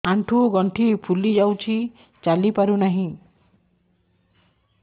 ଆଂଠୁ ଗଂଠି ଫୁଲି ଯାଉଛି ଚାଲି ପାରୁ ନାହିଁ